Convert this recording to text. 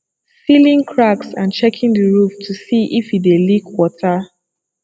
sealing cracks and checking the roof to see if e dey leak water